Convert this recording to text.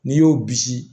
N'i y'o bisi